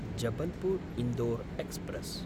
जबलपुर्–इन्दोर् express